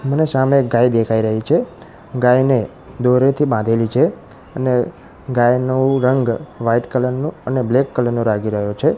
મને સામે એક ગાય દેખાય રહી છે ગાયને દોરીથી બાંધેલી છે અને ગાયનુ રંગ વ્હાઇટ કલર નુ અને બ્લેક કલર નુ રાગી રહ્યો છે.